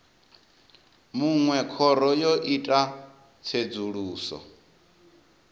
munwe khoro yo ita tsedzuluso